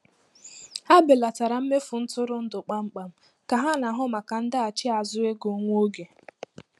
Ha belatara mmefu ntụrụndụ kpamkpam ka ha na-ahụ maka ndaghachi azụ ego nwa oge.